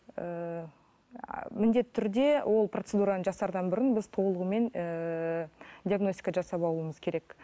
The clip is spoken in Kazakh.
ііі міндетті түрде ол процедураны жасардан бұрын біз толығымен ііі диагностика жасап алуымыз керек